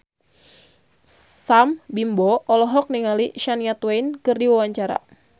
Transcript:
Sam Bimbo olohok ningali Shania Twain keur diwawancara